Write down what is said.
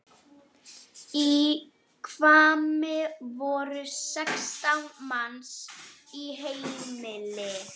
Í Hvammi voru sextán manns í heimili.